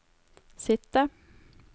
sitte